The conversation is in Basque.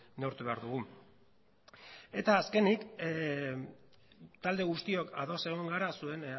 neurtu behar dugu eta azkenik talde guztiok ados egon gara zuen